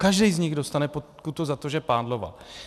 Každý z nich dostane pokutu za to, že pádloval.